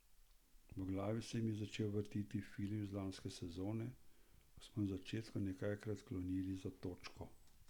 V glavi se mi je začel vrteti film iz lanske sezone, ko smo na začetku nekajkrat klonili za točko.